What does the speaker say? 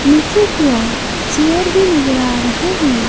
नीचे की ओर चेयर भी नजर आ रहे हैं।